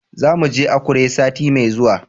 Za mu je Akure sati mai zuwa.